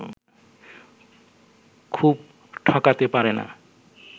খুব ঠকাতে পারে না